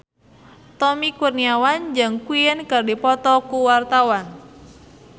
Tommy Kurniawan jeung Queen keur dipoto ku wartawan